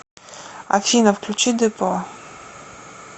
афина включи депо